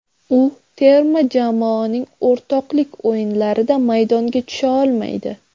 U terma jamoaning o‘rtoqlik o‘yinlarida maydonga tusha olmaydi.